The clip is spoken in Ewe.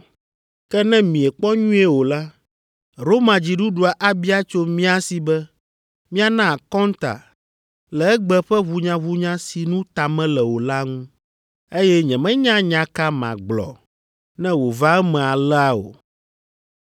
Ke ne miekpɔ nyuie o la, Roma dziɖuɖua abia tso mía si be míana akɔnta le egbe ƒe ʋunyaʋunya si nu ta mele o la ŋu, eye nyemenya nya ka magblɔ ne wòva eme alea o.”